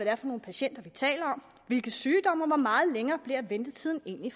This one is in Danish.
er for nogle patienter vi taler om hvilke sygdomme og hvor meget længere ventetiden egentlig